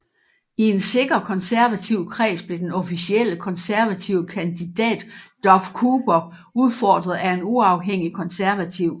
I en sikker konservativ kreds blev den officielle konservative kandidat Duff Cooper udfordret af en uafhængig konservativ